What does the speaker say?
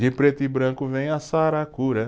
De preto e branco vem a saracura.